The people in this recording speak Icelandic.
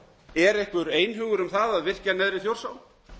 er einhver einhugur um það að virkja neðri hluta þjórsár